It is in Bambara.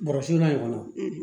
Bɔrɔsu la ɲɔgɔn